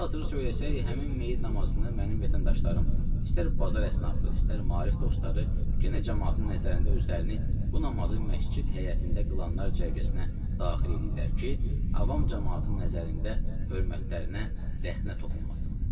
Hal-hazırda söyləsək, həmin meyyid namazını mənim vətəndaşlarım istər bazar əsnabı, istər maarif dostları yenə camaatın nəzərində özlərini bu namazı məscid həyətində qılanlar cərgəsinə daxil eləyirlər ki, avam camaatın nəzərində hörmətlərinə rəxnə toxunmasın.